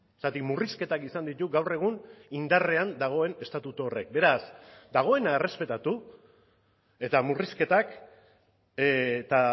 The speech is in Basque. zergatik murrizketak izan ditu gaur egun indarrean dagoen estatutu horrek beraz dagoena errespetatu eta murrizketak eta